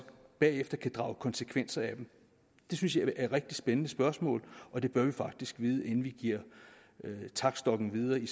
bagefter kan drage konsekvenser af dem det synes jeg er et rigtig spændende spørgsmål og det bør vi faktisk vide inden vi giver taktstokken videre i